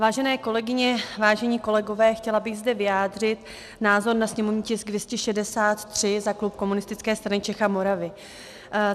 Vážené kolegyně, vážení kolegové, chtěla bych zde vyjádřit názor na sněmovní tisk 263 za klub Komunistické strany Čech a Moravy.